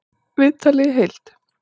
Viðtalið í heild